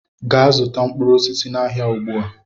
Gaa zụta mkpụrụ osisi n'ahịa ugbu a!